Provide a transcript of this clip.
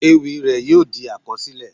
Ewì rẹ̀ yóò di àkọsílẹ̀.